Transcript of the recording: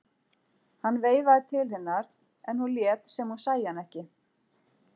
Hann veifaði til hennar en hún lét sem hún sæi hann ekki.